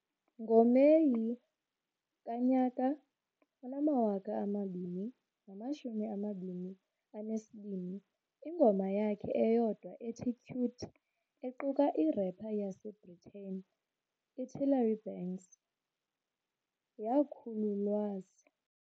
NgoMeyi ka-2022, ingoma yakhe eyodwa ethi "Cute", equka i-rapper yaseBritane i-Trillary Banks, yakhululwas.